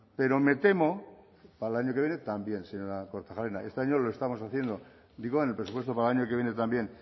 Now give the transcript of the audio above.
pero me temo para el año que viene también señora kortajarena este año lo estamos digo en el presupuesto para el año que viene también